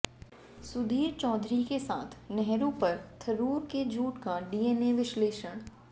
सुधीर चौधरी के साथ नेहरू पर थरूर के झूठ का डीएनए विश्लेषण